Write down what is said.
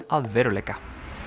að veruleika